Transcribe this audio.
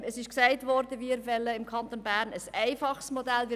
Es ist gesagt worden, dass wir im Kanton Bern ein einfaches Modell wollen.